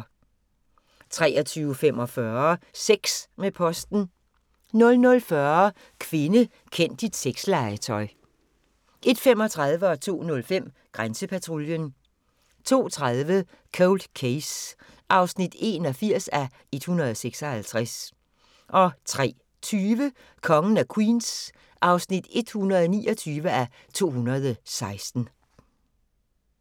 23:45: Sex med posten 00:40: Kvinde, kend dit sexlegetøj 01:35: Grænsepatruljen 02:05: Grænsepatruljen 02:30: Cold Case (81:156) 03:20: Kongen af Queens (129:216)